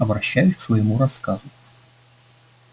обращаюсь к своему рассказу